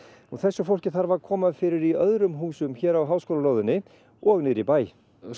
og þessu fólki þarf að koma fyrir í öðrum húsum hér á háskólalóðinni og niðri í bæ